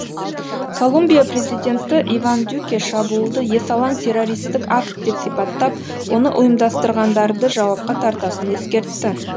колумбия президенті иван дюке шабуылды есалаң террористік акт деп сипаттап оны ұйымдастырғандарды жауапқа тартатынын ескертті